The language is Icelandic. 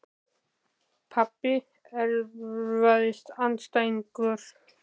Pabbi Erfiðasti andstæðingur?